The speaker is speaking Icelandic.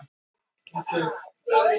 Nú gerði sýslumaður málhvíld.